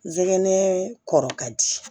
Zigɛnɛ kɔrɔ ka di